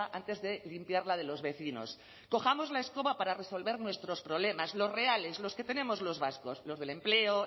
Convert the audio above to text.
antes de limpiar la de los vecinos cojamos la escoba para resolver nuestros problemas los reales los que tenemos los vascos los del empleo